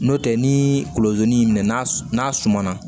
N'o tɛ ni kolozi y'i minɛ n'a sumana